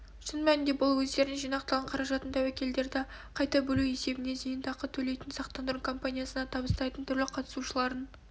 шын мәнінде бұл өздерінің жинақталған қаражатын тәуекелдерді қайта бөлу есебінен зейнетақы төлейтін сақтандыру компаниясына табыстайтын түрлі қатысушылардың